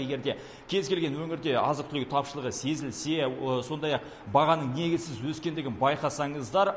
егер де кез келген өңірде азық түлігі тапшылығы сезілсе сондай ақ бағаның негізсіз өскендігін байқасаңыздар